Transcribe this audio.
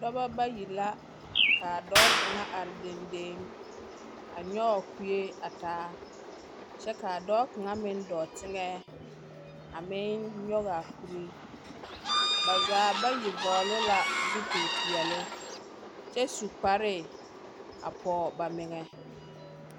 Dͻbͻ bayi la, ka a dͻͻ kaŋa are dendeŋ, a nyͻge kue a taa kyԑ ka a dͻͻ kaŋa meŋ dͻͻ teŋԑ a meŋ nyͻge a kuri. Ba zaa bayi vͻgele la zupili peԑle kyԑ su kparre a pͻͻ ba meŋԑ.